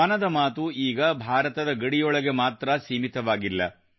ಮನದ ಮಾತು ಈಗ ಭಾರತದ ಗಡಿಯೊಳಗೆ ಮಾತ್ರಾ ಸೀಮಿತವಾಗಿಲ್ಲ